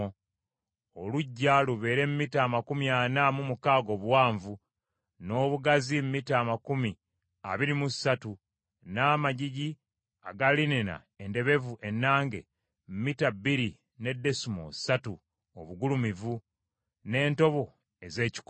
Oluggya lubeere mita amakumi ana mu mukaaga obuwanvu, n’obugazi mita amakumi abiri mu ssatu, n’amagigi aga linena endebevu ennange, mita bbiri ne desimoolo ssatu obugulumivu, n’entobo ez’ekikomo.